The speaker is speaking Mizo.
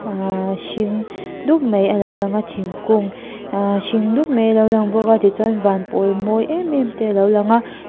aa hring dup mai alo langa thingkung aa hring dup mai alo lang bawka tichuan van pawl mawi em em te alo lang a.